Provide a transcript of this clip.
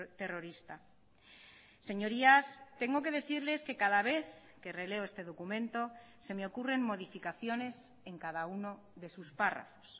terrorista señorías tengo que decirles que cada vez que releo este documento se me ocurren modificaciones en cada uno de sus párrafos